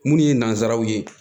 Minnu ye nanzaraw ye